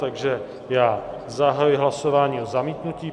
Takže já zahajuji hlasování o zamítnutí.